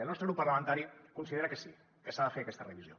el nostre grup parlamentari considera que sí que s’ha de fer aquesta revisió